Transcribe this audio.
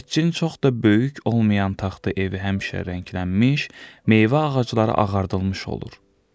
Heçqin çox da böyük olmayan taxta evi həmişə rənglənmiş, meyvə ağacları ağardılmış olur.